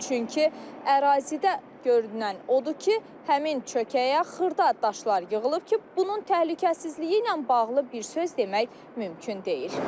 Çünki ərazidə görünən odur ki, həmin çökəyə xırda daşlar yığılıb ki, bunun təhlükəsizliyi ilə bağlı bir söz demək mümkün deyil.